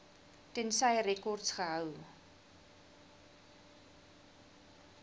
tensy rekords gehou